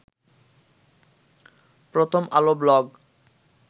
প্রথম আলো ব্লগ